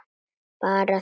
Bara þögn.